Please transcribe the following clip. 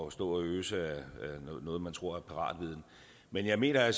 at stå og øse ud af noget man tror er paratviden men jeg mener at